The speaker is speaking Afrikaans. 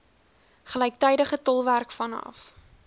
gelyktydige tolkwerk vanaf